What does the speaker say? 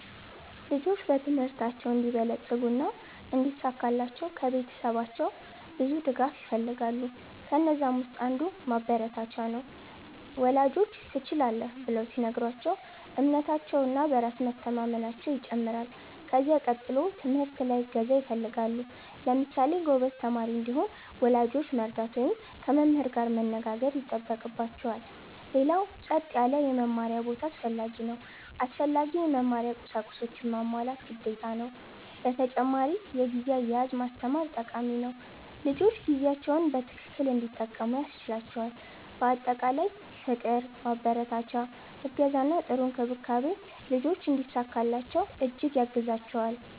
ልጆች በትምህርታቸው እንዲበለጽጉ እና እንዲሳካላቸው ከቤተሰባቸው ብዙ ድጋፍ ይፈልጋሉ። ከነዛም ውስጥ አንዱ ማበረታቻ ነው፤ ወላጆች “ትችላለህ” ብለው ሲነግሯቸው እምነታቸው እና በራስ መቸማመናየው ይጨምራል። ከዚያ ቀጥሎ ትምህርት ላይ እገዛ ይፈልጋሉ። ለምሳሌ ጎበዝ ተማሪ እንዲሆን ወላጆች መርዳት ወይም ከመምህር ጋር መነጋገር ይጠበቅባቸዋል። ሌላው ጸጥ ያለ የመማሪያ ቦታ አስፈላጊ ነው። አስፈላጊ የመማሪያ ቁሳቁሶችንም ማሟላት ግዴታ ነው። በተጨማሪ የጊዜ አያያዝ ማስተማር ጠቃሚ ነው፤ ልጆች ጊዜያቸውን በትክክል እንዲጠቀሙ ያስችላቸዋል። በአጠቃላይ ፍቅር፣ ማበረታቻ፣ እገዛ እና ጥሩ እንክብካቤ ልጆች እንዲሳካላቸው እጅግ ያግዛቸዋል።